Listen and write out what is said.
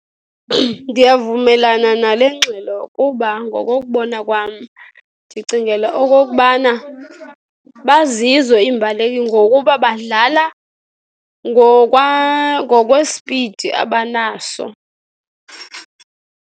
Ndiyavumelana nale ngxelo kuba ngokokubona kwam, ndicingela okokubana bazizo iimbaleki ngokuba badlala ngokwesipidi abanaso.